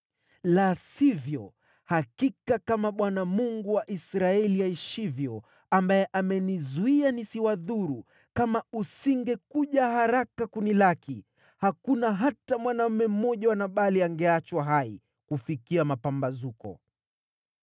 La sivyo, hakika kama Bwana , Mungu wa Israeli, aishivyo, ambaye amenizuia nisiwadhuru, kama usingekuja haraka kunilaki, hakuna hata mwanaume mmoja wa Nabali angeachwa hai kufikia mapambazuko.”